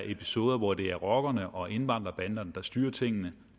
episoder hvor det er rockerne og indvandrerbanderne der styrer tingene